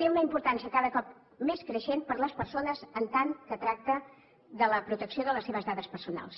té una importància cada cop més creixent per a les persones en tant que tracta de la protecció de les seves dades personals